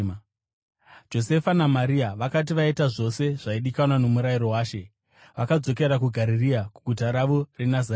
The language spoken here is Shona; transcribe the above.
Josefa naMaria vakati vaita zvose zvaidikanwa noMurayiro waShe, vakadzokera kuGarirea kuguta ravo reNazareta.